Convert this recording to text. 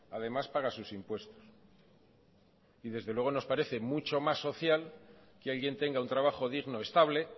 además pagas sus impuestos y desde luego nos parece mucho más social que alguien tenga un trabajo digno estable